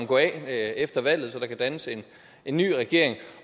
gå af efter valget så der kan dannes en ny regering